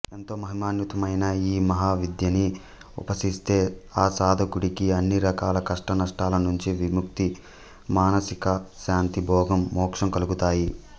ఎంతో మహిమాన్వితమైన ఈ మహావిద్యని ఉపాసిస్తే ఆసాధకుడికి అన్నిరకాల కష్టనష్టాలనుంచి విముక్తి మానసికశాంతి భోగం మోక్షం కలుగుతాయి